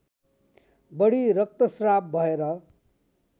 बढी रक्तस्राव भएर